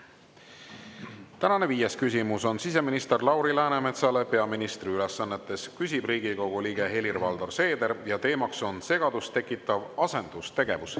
Tänane viies küsimus on siseminister Lauri Läänemetsale peaministri ülesannetes, küsib Riigikogu liige Helir-Valdor Seeder ja teema on segadust tekitav asendustegevus.